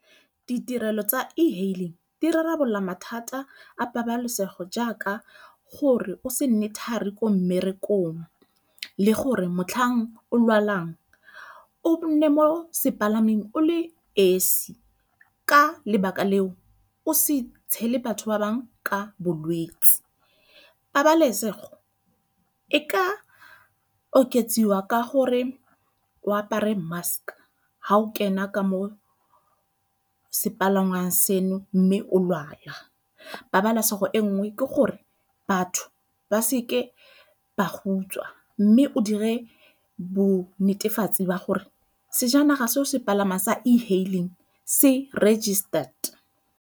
Ditirelo tsa e-hailing di rarabolola mathata a pabalesego jaaka gore o se nne thari ko mmerekong le gore motlhang o lwalang o nne mo sepalameng o le esi, ka lebaka leo o se tshele batho ba bangwe ka bolwetse. Pabalesego e ka oketswa ka gore o apare mask ha o kena ka mo sepalangwa seno mme o lwala, pabalasego e nngwe ke gore batho ba seke ba go utswa mme o dire bo netefatse wa gore sejanaga se o se palama sa e-hailing se registered.